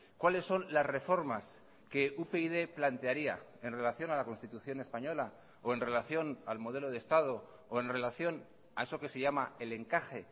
cuáles son las reformas que upyd plantearía en relación a la constitución española o en relación al modelo de estado o en relación a eso que se llama el encaje